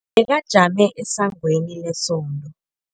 Bekajame esangweni lesonto.